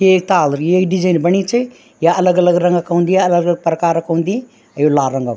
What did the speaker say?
येक ताल भी येक डीजेंन बणी च या अलग-अलग रंगा का हुन्दी अलग-अलग प्रकार का हुन्दी अर यु लाल रंगा च।